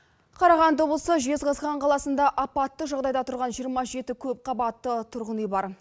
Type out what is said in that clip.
қарағанды облысы жезқазған қаласында апатты жағдайда тұрған жиырма жеті көпқабатты тұрғын үй бар